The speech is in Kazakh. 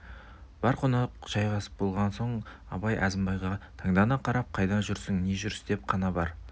бар қонақ жайғасып болған соң абай әзімбайға таңдана қарап қайдан жүрсің не жүріс деп қана бар